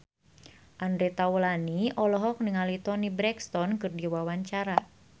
Andre Taulany olohok ningali Toni Brexton keur diwawancara